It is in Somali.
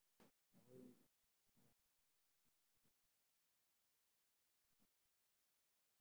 Daawooyinka, sida kuwa yareeya daalka oo fududeeya xanuunka murqaha ayaa diyaar ah.